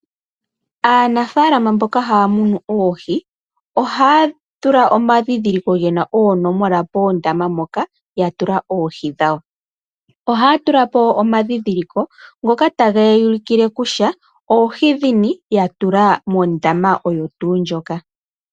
Aanafalama mboka haya munu oohi, ohaya tula omandhindhiliko gena oonomola poondama mpoka, yatula oohi dhawo. Ohaya tulapo omandhindhiliko, ngoka tageya ulukile kutya oohi ndhini, yatula mondama oyo tuu ndjoka.